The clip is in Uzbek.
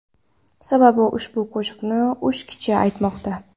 Sababi ushbu qo‘shiqni uch kishi aytmoqda.